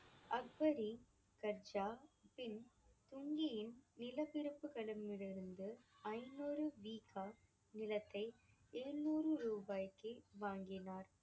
நிலப்பிரபுக்களிடமிருந்து ஐநூறு வீக்கா நிலத்தை எழுநூறு ரூபாய்க்கு வாங்கினார்.